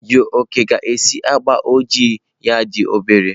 Jioke ga-esiji agba ojii ya dị obere.